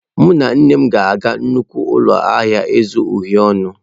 Mụ na nne m ga-aga nnukwu ụlọ ahịa ịzụ uhie ọnụ.